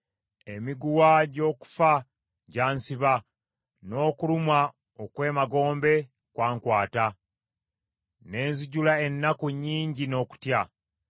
Emiguwa gy’okufa gyansiba, n’okulumwa okw’emagombe kwankwata; ne nzijula ennaku nnyingi n’okutya.